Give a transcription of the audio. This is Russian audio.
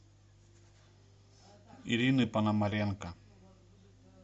ирины пономаренко